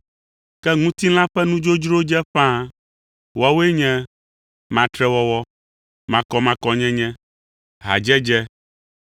Ke ŋutilã ƒe nudzodzrowo dze ƒãa. Woawoe nye: matrewɔwɔ, makɔmakɔnyenye, hadzedze,